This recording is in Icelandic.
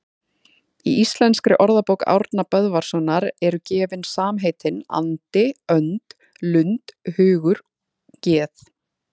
Í Íslenskri orðabók Árna Böðvarssonar eru gefin samheitin andi, önd, lund, hugur, geð